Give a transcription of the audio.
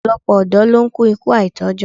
Ọ̀pọ̀lọpọ̀ ọ̀dọ́ ló ń kú ikú àìtójọ́